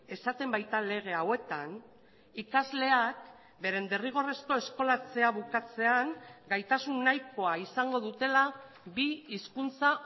esaten baita lege hauetan ikasleak beren derrigorrezko eskolatzea bukatzean gaitasun nahikoa izango dutela bi hizkuntza